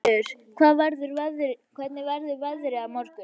Valur, hvernig verður veðrið á morgun?